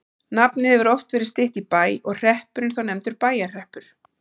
Nafnið hefur oft verið stytt í Bæ og hreppurinn þá nefndur Bæjarhreppur.